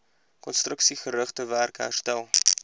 konstruksiegerigte werk herstel